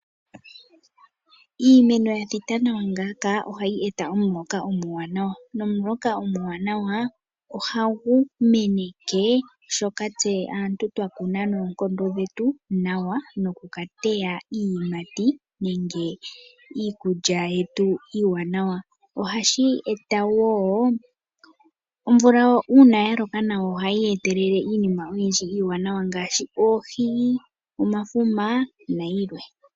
Iimeno ya thita nawa ngaaka ohayi eta omuloka omuwanawa, nomuloka omuwanawa ohagu meneke shoka tse aantu twakuna noonkondo dhetu nawa noku ka teya iiyimati nenge iikulya yetu iiwanawa. Ohashi eta wo, omvula uuna yaloka nawa ohayi etelele iinima iiwanawa oyindji ngaashi, oohi, omafuma nayilwe.